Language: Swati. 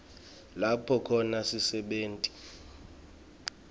lapho khona sisebenti